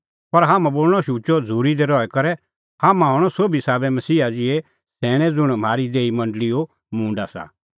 पर हाम्हां बोल़णअ शुचअ झ़ूरी दी रही करै हाम्हां हणअ सोभी साबै मसीहा ज़िहै सैणैं ज़ुंण म्हारी देही मंडल़ीओ मूंड आसा